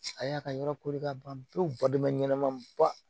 A y'a ka yɔrɔ kori ka ban pewu bade ɲɛnama ba